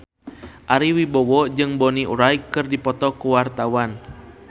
Ari Wibowo jeung Bonnie Wright keur dipoto ku wartawan